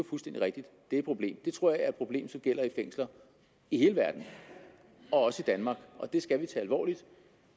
fuldstændig rigtigt et problem det tror jeg er et problem som gælder i fængsler i hele verden og også i danmark og det skal vi tage alvorligt